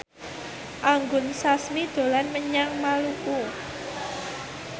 Anggun Sasmi dolan menyang Maluku